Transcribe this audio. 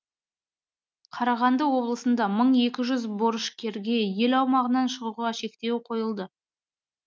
қарағанды облысында мың екі жүз борышкерге ел аумағынан шығуға шектеу қойылды